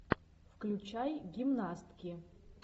включай гимнастки